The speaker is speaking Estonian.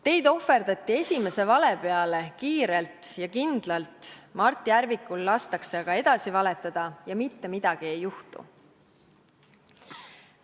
Teid ohverdati esimese vale peale kiirelt ja kindlalt, Mart Järvikul lastakse aga edasi valetada ja mitte midagi ei juhtu.